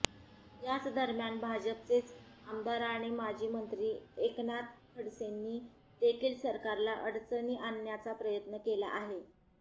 याचदरम्यान भाजपचेच आमदार आणि माजी मंत्री एकनाथ खडसेंनी देखील सरकारला अडचणी आणण्याचा प्रयत्न केला आहे